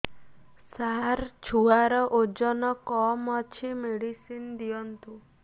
ସାର ଛୁଆର ଓଜନ କମ ଅଛି ମେଡିସିନ ଦିଅନ୍ତୁ